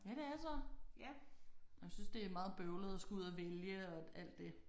Ja det er så og jeg synes det er meget bøvlet at skulle ud og vælge og alt det